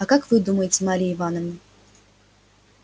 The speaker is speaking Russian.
а как вы думаете марья ивановна